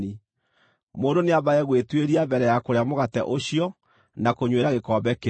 Mũndũ nĩambage gwĩtuĩria mbere ya kũrĩa mũgate ũcio na kũnyuĩra gĩkombe kĩu.